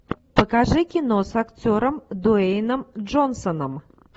покажи кино с актером дуэйном джонсоном